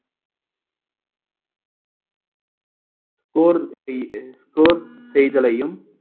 score செய்த~ score செய்தலையும்